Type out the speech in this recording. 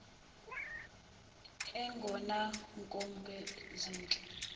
egona kumpho zehle